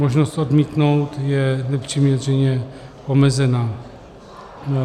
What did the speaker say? Možnost odmítnout je nepřiměřeně omezená.